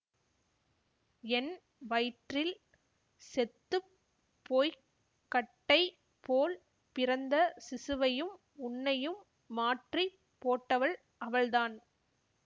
என் வயிற்றில் செத்து போய் கட்டை போல் பிறந்த சிசுவையும் உன்னையும் மாற்றி போட்டவள் அவள்தான்